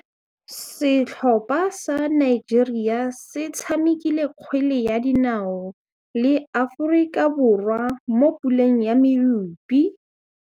Setlhopha sa Nigeria se tshamekile kgwele ya dinaô le Aforika Borwa mo puleng ya medupe.